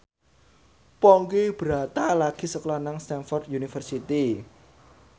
Ponky Brata lagi sekolah nang Stamford University